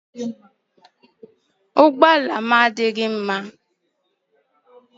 Ụgbọ ala m adịghị mma.